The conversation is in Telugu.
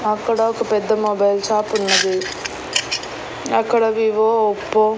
అక్కడ ఒక పెద్ద మొబైల్ షాప్ ఉన్నది అక్కడ వివో ఒప్పో .